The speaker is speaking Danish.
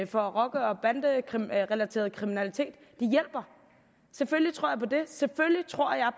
for rocker og banderelateret kriminalitet selvfølgelig tror jeg